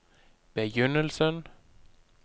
begynnelsen